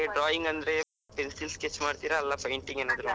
Drawing ಅಂದ್ರೆ pencil sketch ಮಾಡ್ತೀರಾ? ಅಲ್ಲ painting ಏನಾದ್ರು?